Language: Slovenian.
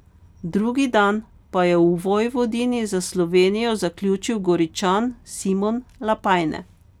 Drugi dan pa je v Vojvodini za Slovenijo zaključil Goričan Simon Lapajne.